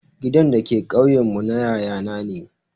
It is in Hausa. Gidan da ke ƙauyen mu na yaya na ne